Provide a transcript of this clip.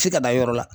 F'i ka da yɔrɔ la